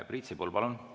Priit Sibul, palun!